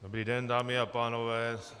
Dobrý den, dámy a pánové.